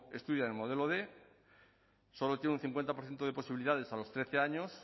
estudia en el modelo quinientos solo tiene un cincuenta por ciento de posibilidades a los trece años